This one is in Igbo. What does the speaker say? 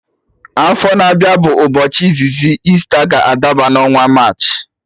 Afọ na-abịa bụ izizi Easter ga adaba n'ọnwa March